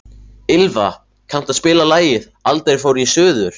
Ylva, kanntu að spila lagið „Aldrei fór ég suður“?